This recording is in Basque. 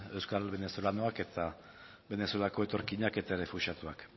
euskal venezolanoak eta venezuelako etorkinak eta errefuxiatuak